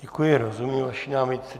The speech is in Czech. Děkuji, rozumím vaší námitce.